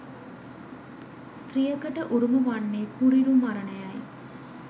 ස්ත්‍රියකට උරුම වන්නේ කුරිරු මරණය යි